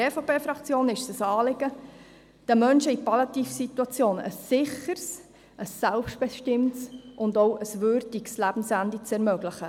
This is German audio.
Der EVP-Fraktion ist es ein Anliegen, den Menschen in PalliativSituationen ein sicheres, ein selbstbestimmtes und auch ein würdiges Lebensende zu ermöglichen.